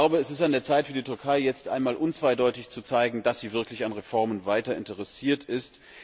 Es ist an der Zeit für die Türkei, jetzt einmal unzweideutig zu zeigen, dass sie wirklich weiter an Reformen interessiert ist.